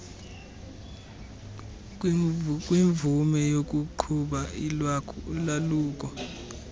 kwimvume yokuqhuba ulwaluko